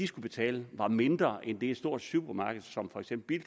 skulle betale var mindre end det et stort supermarked som for eksempel